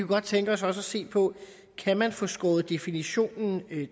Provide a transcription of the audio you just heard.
godt tænke os også at se på kan man få skåret definitionen